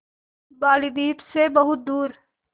बालीद्वीप सें बहुत दूर